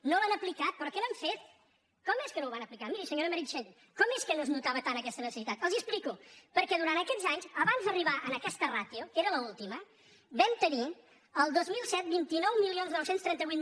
no l’han aplicat però què n’han fet com és que no ho van aplicar miri senyora meritxell com és que no es notava tant aquesta necessitat els ho explico perquè durant aquests anys abans d’arribar a aquesta ràtio que era l’última vam tenir el dos mil set vint nou mil nou cents i trenta vuit